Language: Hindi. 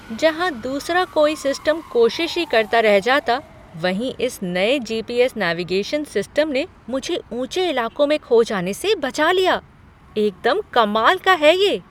जहाँ दूसरा कोई सिस्टम कोशिश ही करता रह जाता, वहीं इस नए जी.पी. एस. नेविगेशन सिस्टम ने मुझे ऊंचे इलाकों में खो जाने से बचा लिया। एकदम कमाल का है ये!